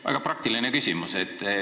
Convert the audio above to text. Väga praktiline küsimus.